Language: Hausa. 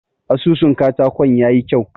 Asusun katakon ya yi kyau.